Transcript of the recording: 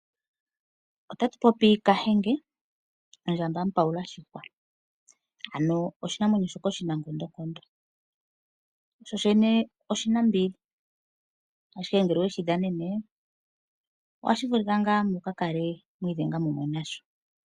Otatupopi kahenge, ondjamba mupawula shihwa ano oshinamwenyo shoka oshinankondonkondo, sho shene oshina mbili ashike ngele oweshi dhananene ohashi vulika ngaa mukakale mwiidhenga mumwe nasho.